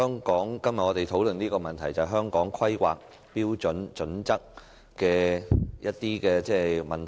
主席，我們今天討論有關《香港規劃標準與準則》的問題。